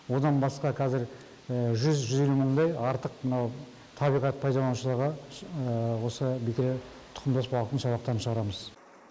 одан басқа кәзір жүз жүз елу мыңдай артық мынау табиғат пайдаланушыларға осы бекіре тұқымдас балықтың шабақтарын шығарамыз